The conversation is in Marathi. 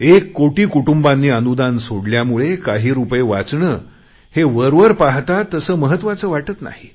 एक कोटी कुटुंबांनी अनुदान सोडल्यामुळे काही रुपये वाचणे हे वरवर पाहता तसे महत्त्वाचे वाटत नाही